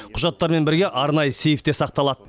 құжаттармен бірге арнайы сейфте сақталады